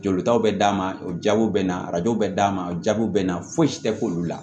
Jolitaw bɛ d'a ma o jaabiw bɛ na arajo bɛ d'a ma o jaabi bɛ na fosi tɛ k'olu la